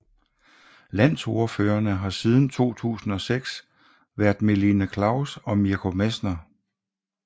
Landsordførerne har siden 2006 været Melina Klaus og Mirko Messner